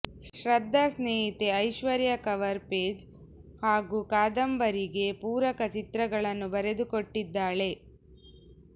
ಶ್ರದ್ಧಾ ಸ್ನೇಹಿತೆ Aishwarya cover page ಹಾಗೂ ಕಾದಂಬರಿಗೆ ಪೂರಕ ಚಿತ್ರಗಳನ್ನು ಬರೆದುಕೊಟ್ಟಿದ್ದಾಳೆ